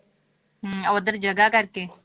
ਹਮ ਉੱਧਰ ਜਗ੍ਹਾ ਕਰਕੇ